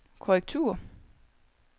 korrektur